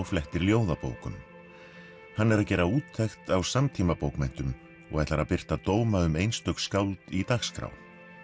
flettir ljóðabókum hann er að gera úttekt á samtímabókmenntum og ætlar að birta dóma um einstök skáld í dagskrá